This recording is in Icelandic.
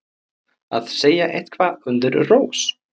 Að segja eitthvað undir rós